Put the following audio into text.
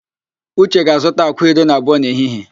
Uche ga-azụta àkwá iri na abụọ n'ehihie